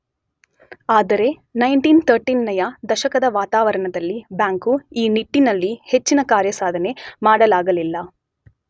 ಆದರೆ 1930ನೆಯ ದಶಕದ ವಾತಾವರಣದಲ್ಲಿ ಬ್ಯಾಂಕು ಈ ನಿಟ್ಟಿನಲ್ಲಿ ಹೆಚ್ಚಿನ ಕಾರ್ಯಸಾಧನೆ ಮಾಡಲಾಗಲಿಲ್ಲ.